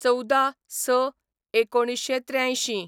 १४/०६/१९८३